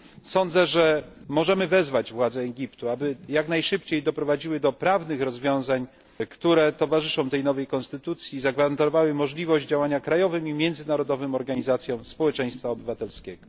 Sądzę, że możemy wezwać władze Egiptu, aby jak najszybciej doprowadziły do prawnych rozwiązań, które towarzyszą tej nowej konstytucji, i zagwarantowały możliwość działania krajowym i międzynarodowym organizacjom społeczeństwa obywatelskiego.